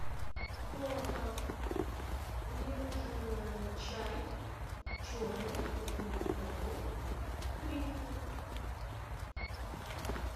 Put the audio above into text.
толока мне нужен чай черный крупнолистовой гринфилд